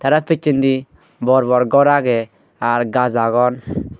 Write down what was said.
tara pichendi bor bor ghor aage r gaj agon